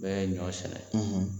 N bɛ ɲɔ sɛnɛ